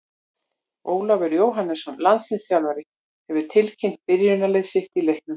Ólafur Jóhannesson, landsliðsþjálfari, hefur tilkynnt byrjunarlið sitt í leiknum.